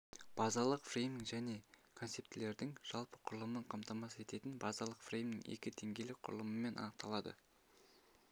базалық фреймнің және концептілердің жалпы құрылымын қамтамасыз ететін базалық фреймнің екі деңгейлік құрылымымен анықталады